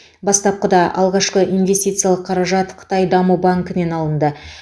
бастапқыда алғашқы инвестициялық қаражат қытай даму банкінен алынды